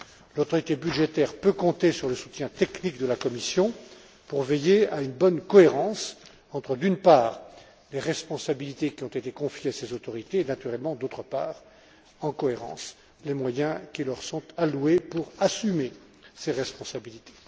L'autorité budgétaire peut compter sur le soutien technique de la Commission pour veiller à une bonne cohérence entre, d'une part, les responsabilités qui ont été confiées à ces autorités et, naturellement, d'autre part, les moyens qui leur sont alloués pour assumer ces responsabilités.